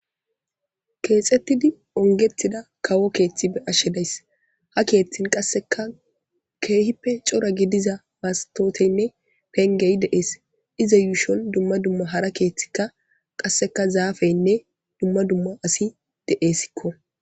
Kexetidi ongetida kawo keeththi beashe deayis ha keeththin qaseka kehippe cora gidiza masikotenne penge deas iza ushon dumma dumma hara keeththika qaseka zaffenne dumma dumma asi desikko.